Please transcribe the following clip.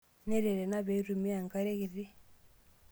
Neret ena pee eitumiyai enkare kiti.